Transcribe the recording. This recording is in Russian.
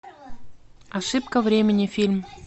ошибка времени фильм